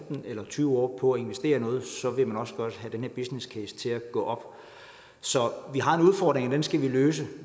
tyve år på at investere i noget vil man også godt have den her business case til at gå op så vi har en udfordring og den skal vi løse